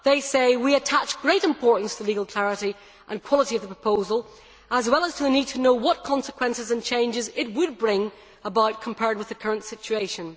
They say, we attach great importance to the legal clarity and quality of the proposal, as well as to the need to know what consequences and changes it would bring about compared with the current situation.